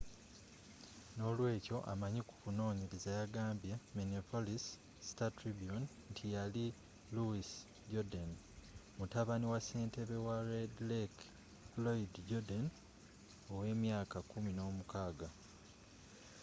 n'olweekyo amanyi ku kunoonyereza yagambye minneapolis star-tribune nti yali louis jourdain mutabani wa ssentebe wa red lake floyd jourdain ow'emyaka kumi n'omukaaga